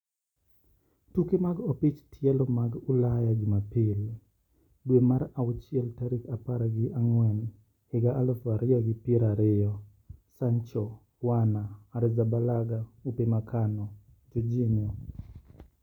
Tuke mag opich tielo mag Ulaya Jumapil, dwe mar auchiel tarik apar gi ang`wen higa aluf ariyo gi pier ariyo: Sancho, Werner, Arrizabalaga, Upamecano, Jorginho